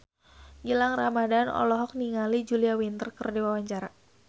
Gilang Ramadan olohok ningali Julia Winter keur diwawancara